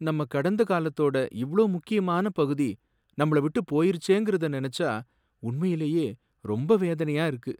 நம்ம கடந்தகாலத்தோட இவ்ளோ முக்கியமான பகுதி நம்மள விட்டுப் போயிருச்சேங்குறத நினைச்சா உண்மையிலேயே ரொம்ப வேதனையா இருக்கு.